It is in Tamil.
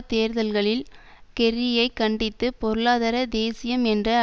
தேர்தல்களில் கெர்ரியை கண்டித்து பொருளாதார தேசியம் என்ற